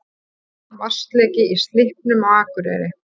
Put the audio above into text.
Vatnsleki í Slippnum á Akureyri